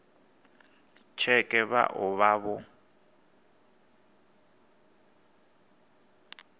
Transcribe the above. tsheke vha o vha vho